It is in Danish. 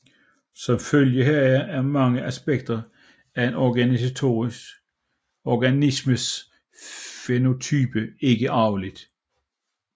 Som følge heraf er mange aspekter af en organismes fænotype ikke arvelige